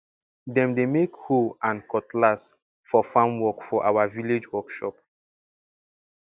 dem dey make hoe and cutlass for farm work for our village workshop